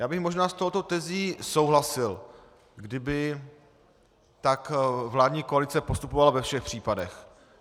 Já bych možná s touto tezí souhlasil, kdyby tak vládní koalice postupovala ve všech případech.